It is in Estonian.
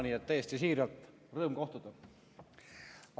Nii et täiesti siiralt: rõõm kohtuda!